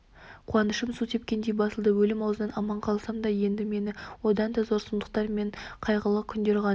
қуанышым су сепкендей басылды өлім аузынан аман қалсам да енді мені одан да зор сұмдықтар мен қайғылы күндер ғана